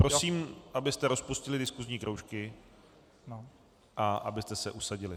Prosím, abyste rozpustili diskusní kroužky a abyste se usadili.